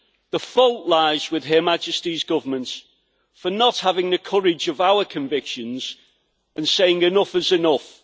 The fault lies with Her Majesty's Government for not having the courage of our convictions, and saying enough is enough'.